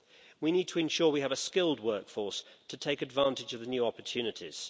We need to ensure that we have a skilled workforce to take advantage of the new opportunities.